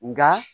Nka